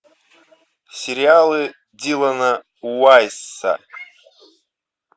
сериалы дилана уайсса